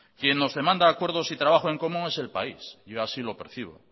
quien nos demanda acuerdos y trabajo en común es el país yo así lo percibo